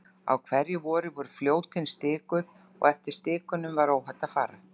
Á hverju vori voru Fljótin stikuð og eftir stikunum var óhætt að fara.